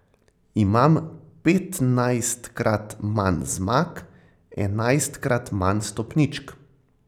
Imam petnajstkrat manj zmag, enajstkrat manj stopničk ...